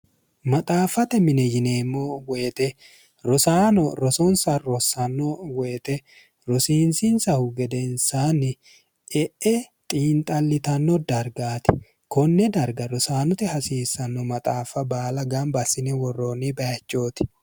maxaaffate mine yineemmo woyite rosaano rosonsa rossanno woyite rosiinsinsahu gedensaanni e'e xiinxallitanno dargaati konne darga rosaanote hasiissanno maxaaffa baala gamba assine worroonni bayichooti